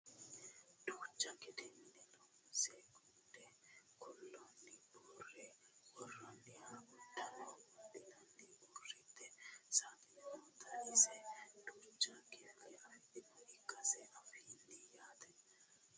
dancha gede mine loonse gunde kuulano buurre worroonihura uduunne wodhinanniti uurritino saaxine noota iseno duucha kifilla afidhinota ikkase anfanni yaate